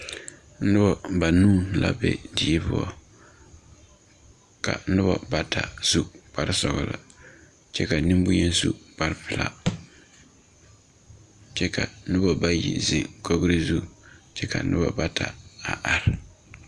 Nuba banuu la be deɛ pou ka nuba bata su kpare sɔglo kye ka ninbonyeni su kpare pelaa kye ka nuba bayi zeng kɔgri zu kye ka nuba bata a arẽ.